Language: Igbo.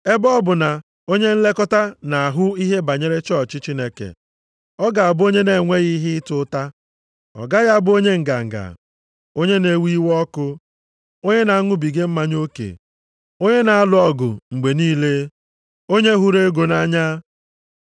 Ebe ọ bụ na onye nlekọta nʼahụ ihe banyere chọọchị Chineke, ọ ga-abụ onye na-enweghị ihe ịta ụta. Ọ gaghị abụ onye nganga, onye na-ewe iwe ọkụ, onye na-aṅụbiga mmanya oke, onye na-alụ ọgụ mgbe niile, onye hụrụ ego nʼanya.